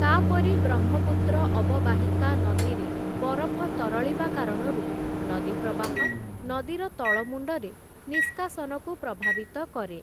ତା'ପରେ ବ୍ରହ୍ମପୁତ୍ର ଅବବାହିକା ନଦୀରେ ବରଫ ତରଳିବା କାରଣରୁ ନଦୀ ପ୍ରବାହ, ନଦୀର ତଳମୁଣ୍ଡରେ ନିଷ୍କାସନକୁ ପ୍ରଭାବିତ କରେ ।